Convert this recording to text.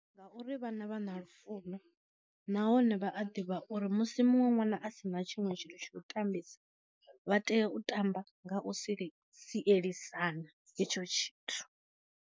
Ngauri vhana vha na lufuno nahone vha a ḓivha uri musi muṅwe ṅwana asina tshiṅwe tshithu tsha u ṱambisa, vha tea u tamba nga u si sielisana hetsho tshithu.